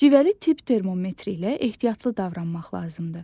Civəli tibb termometri ilə ehtiyatlı davranmaq lazımdır.